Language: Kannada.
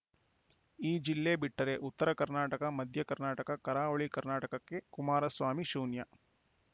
ಈ ಜಿಲ್ಲೆ ಬಿಟ್ಟರೆ ಉತ್ತರ ಕರ್ನಾಟಕ ಮಧ್ಯ ಕರ್ನಾಟಕ ಕರಾವಳಿ ಕರ್ನಾಟಕಕ್ಕೆ ಕುಮಾರಸ್ವಾಮಿ ಶೂನ್ಯ